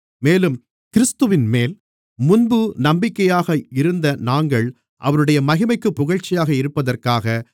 மேலும் கிறிஸ்துவின்மேல் முன்பு நம்பிக்கையாக இருந்த நாங்கள் அவருடைய மகிமைக்குப் புகழ்ச்சியாக இருப்பதற்காக